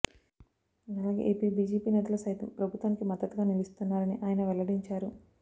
అలాగే AP BJP నేతలు సైతం ప్రభుత్వానికి మద్ధతుగా నిలుస్తున్నారని ఆయన వెల్లడించారు